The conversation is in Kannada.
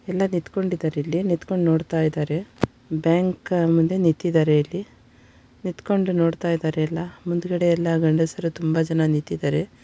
ಎಲ್ಲಾ ನಿಂತುಕೊಂಡಿದ್ದಾರೆ ಇಲ್ಲಿ ನಿಂತುಕೊಂಡು ನೋಡ್ತಾ ಇದ್ದಾರೆ ಬ್ಯಾಂಕ್‌ ಮುಂದೆ ನಿಂತಿದ್ದಾರೆ ಇಲ್ಲಿ ನಿಂತುಕೊಂಡು ನೋಡ್ತಾ ಇದ್ದಾರೆ ಎಲ್ಲಾ ಹಿಂದುಗಡೆ ಎಲ್ಲಾ ಗಂಡಸರೆಲ್ಲಾ ತುಂಬಾ ಜನ ನಿಂತಿದ್ದಾರೆ .